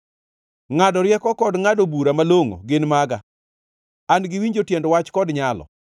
Ngʼado rieko kod ngʼado bura malongʼo gin maga; an-gi winjo tiend wach kod nyalo.